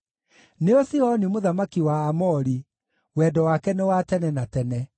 nĩo Sihoni mũthamaki wa Aamori, Wendo wake nĩ wa tene na tene.